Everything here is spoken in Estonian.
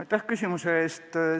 Aitäh küsimuse eest!